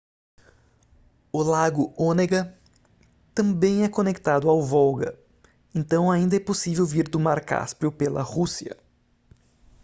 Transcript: o lago onega também é conectado ao volga então ainda é possível vir do mar cáspio pela rússia